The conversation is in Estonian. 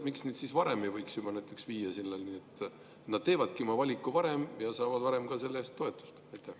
Miks ei võiks näiteks olla nii, et nad teevad oma valiku varem ja saavad varem ka selle eest toetust?